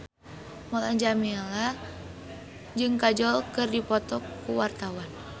Mulan Jameela jeung Kajol keur dipoto ku wartawan